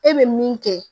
E bɛ min kɛ